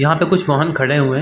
यहाँ पे कुछ वाहन खड़े हुए हैं।